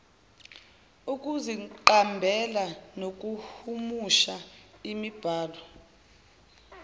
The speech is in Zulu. ukuziqambela nokuhumusha imibhalo